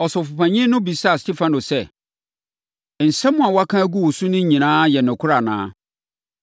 Ɔsɔfopanin no bisaa Stefano sɛ, “Nsɛm a wɔaka agu wo so no nyinaa yɛ nokorɛ anaa?”